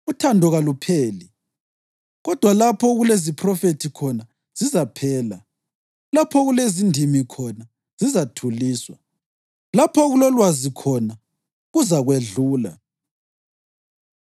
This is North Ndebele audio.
Uthando kalupheli. Kodwa lapho okuleziphrofethi khona, zizaphela, lapho okulezindimi khona, zizathuliswa; lapho okulokwazi khona, kuzakwedlula.